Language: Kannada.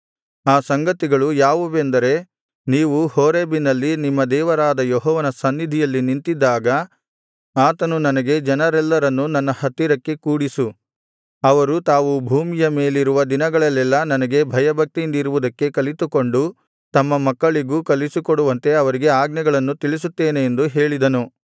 ಆ ಸಂಗತಿಗಳು ಯಾವುವೆಂದರೆ ನೀವು ಹೋರೇಬಿನಲ್ಲಿ ನಿಮ್ಮ ದೇವರಾದ ಯೆಹೋವನ ಸನ್ನಿಧಿಯಲ್ಲಿ ನಿಂತಿದ್ದಾಗ ಆತನು ನನಗೆ ಜನರೆಲ್ಲರನ್ನು ನನ್ನ ಹತ್ತಿರಕ್ಕೆ ಕೂಡಿಸು ಅವರು ತಾವು ಭೂಮಿಯ ಮೇಲಿರುವ ದಿನಗಳಲ್ಲೆಲ್ಲಾ ನನಗೆ ಭಯಭಕ್ತಿಯಿಂದಿರುವುದಕ್ಕೆ ಕಲಿತುಕೊಂಡು ತಮ್ಮ ಮಕ್ಕಳಿಗೂ ಕಲಿಸಿಕೊಡುವಂತೆ ಅವರಿಗೆ ಆಜ್ಞೆಗಳನ್ನು ತಿಳಿಸುತ್ತೇನೆ ಎಂದು ಹೇಳಿದನು